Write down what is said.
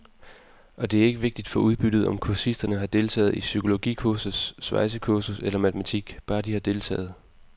Og det er ikke vigtigt for udbyttet, om kursisterne har deltaget i psykologikursus, svejsekursus eller matematik, bare de har deltaget.